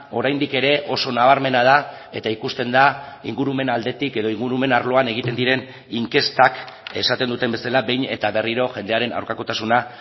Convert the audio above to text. oraindik ere oso nabarmena da eta ikusten da ingurumen aldetik edo ingurumen arloan egiten diren inkestak esaten duten bezala behin eta berriro jendearen aurkakotasuna